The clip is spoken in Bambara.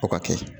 O ka kɛ